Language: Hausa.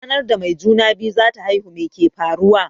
Ranar da mai juna-biyu zata haihu meke faruwa?